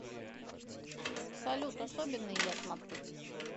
салют особенные я смотрю